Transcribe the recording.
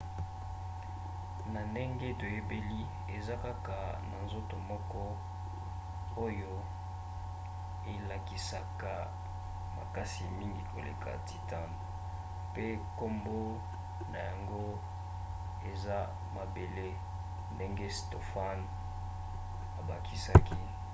na ndenge toyebeli eza kaka na nzoto moko oyo elakisaka makasi mingi koleka titan pe nkombo na yango eza mabele, ndenge stofan abakisaki